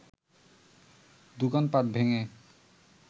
দোকানপাট ভেঙে